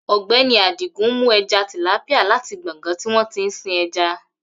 Ogbeni Adigun mú eja tìlápíà láti gbọ̀ngán tí wọn tí ń sin eja